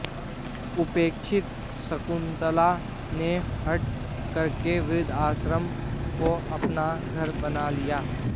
उपेक्षित शकुन्तला ने हठ करके वृद्धाश्रम को अपना घर बना लिया